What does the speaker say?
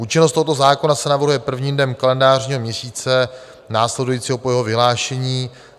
Účinnost tohoto zákona se navrhuje prvním dnem kalendářního měsíce následujícího po jeho vyhlášení.